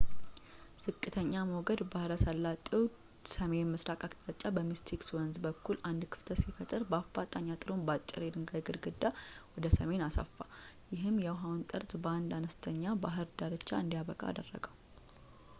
ዝቅተኛ ሞገድ ባሕረ ሰላጤው ሰሜን ምስራቅ አቅጣጫ በሚስቲክ ወንዝ በኩል አንድ ክፍተት ሲፈጥር በአፋጣኝ አጥሩን በአጭር የድንጋይ ግድግዳ ወደ ሰሜን አሰፉ ይህም የውሃውን ጠርዝ በአንድ አነስተኛ ባህር ዳርቻ እንዲያበቃ አደረገው